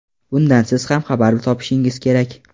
Bundan siz ham xabar topishingiz kerak.